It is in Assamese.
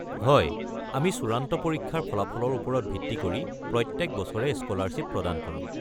হয়, আমি চূড়ান্ত পৰীক্ষাৰ ফলাফলৰ ওপৰত ভিত্তি কৰি প্ৰত্যেক বছৰে স্কলাৰশ্বিপ প্ৰদান কৰো।